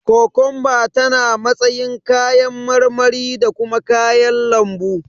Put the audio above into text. Kokomba tana matsayin kayan marmari da kuma kayan lambu.